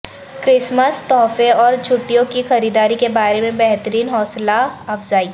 Christmas تحفے اور چھٹیوں کی خریداری کے بارے میں بہترین حوصلہ افزائی